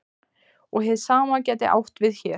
Og hið sama gæti átt við hér.